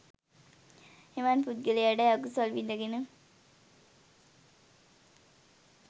එවන් පුද්ගලයාටයි අකුසල් විදගෙන